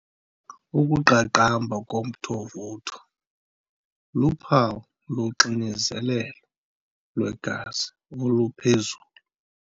Ukuqaqamba komthovutho luphawu loxinzelelo lwegazi oluphezulu.